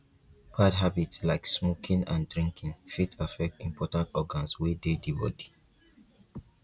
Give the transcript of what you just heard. bad habit like smoking and drinking fit affect important organs wey dey di body